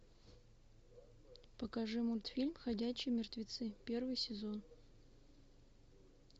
покажи мультфильм ходячие мертвецы первый сезон